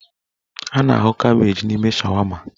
A na-ahụ kabeeji n'ime shawama.